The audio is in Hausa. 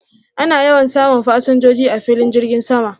Ana yawan samun fasinjoji a filin girgin sama